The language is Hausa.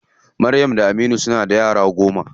Maryam da Aminu suna da yara goma.